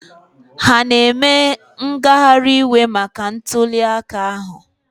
Ha na-eme ngagharị iwe maka ntuliaka ahụ?